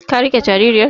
Ka riƙe jaririyar?